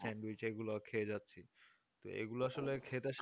sandwich এগুলো খেয়ে যাচ্ছি এগুলো আসলে খেতে